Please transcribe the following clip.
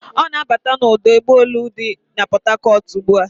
Ọ na-abata n'ọdụ ụgbọelu dị na Pọtakọt ugbu a.